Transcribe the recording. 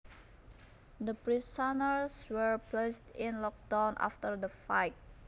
The prisoners were placed in lockdown after the fight